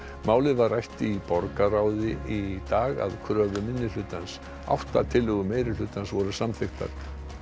málið var rætt í borgarráði í dag að kröfu minnihlutans átta tillögur meirihlutans voru samþykktar